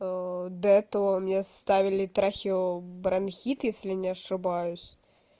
до этого у меня ставили трахеобронхит если не ошибаюсь